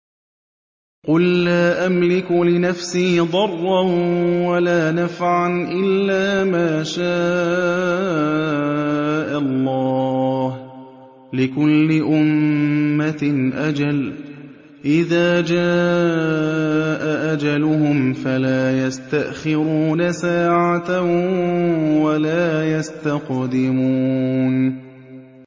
قُل لَّا أَمْلِكُ لِنَفْسِي ضَرًّا وَلَا نَفْعًا إِلَّا مَا شَاءَ اللَّهُ ۗ لِكُلِّ أُمَّةٍ أَجَلٌ ۚ إِذَا جَاءَ أَجَلُهُمْ فَلَا يَسْتَأْخِرُونَ سَاعَةً ۖ وَلَا يَسْتَقْدِمُونَ